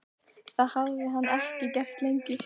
Það hafði hann ekki gert lengi.